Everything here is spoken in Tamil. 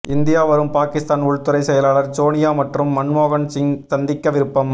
இந்தியா வரும் பாகிஸ்தான் உள்துறை செயலாளர் சோனியா மற்றும் மன்மோகன் சிங் சந்திக்க விருப்பம்